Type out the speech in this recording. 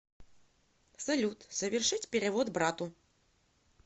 салют совершить перевод брату